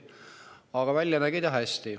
Aga välja nägi ta hea.